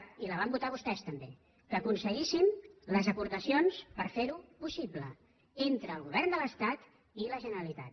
i la van votar vostès també que aconseguíssim les aportacions per fer ho possible entre el govern de l’estat i la generalitat